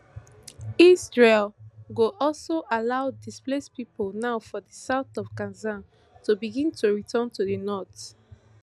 israel go also allow displaced pipo now for di south of gaza to begin to return to di north